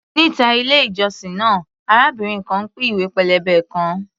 Níta ilé-ìjọsìn náà, arábìnrin kan ń pín ìwé pélébé kan.